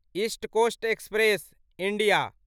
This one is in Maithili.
east coast express India